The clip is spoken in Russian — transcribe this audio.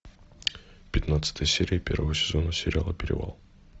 пятнадцатая серия первого сезона сериала перевал